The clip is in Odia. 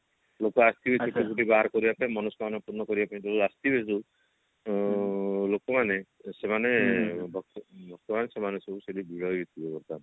ଲୋକ ଆସିବେ ଚୁଟି ଫୁଟି ବାହାର କରିବା ପାଇଁ ମନସ୍କାମନା ପୂର୍ଣ କରିବା ପାଇଁ ଯୋଉ ଆସିବେ ସବୁ ଉଁ ଲୋକମାନେ ସେମାନେ ପ୍ରାଏ ସେମାନେ ସବୁ ସେଠି ଭିଡ ହେଇଥିବ ବର୍ତମାନ